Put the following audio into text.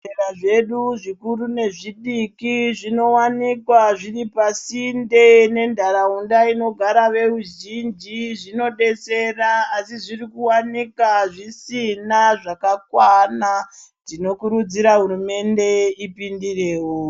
Zvibhedhlera zvedu zvikuru nezvidiki zvinowanikwa zviri pasinte nentharaunda inogara veruzhinji zvinodetsera asi zvirikuwanika zvisina zvakakwana tinokurudzira hurumende ipindireo.